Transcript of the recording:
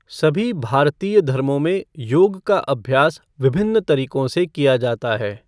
सभी भारतीय धर्मों में योग का अभ्यास विभिन्न तरीकों से किया जाता है।